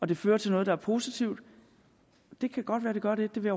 det fører til noget der er positivt det kan godt være vi gør det det vil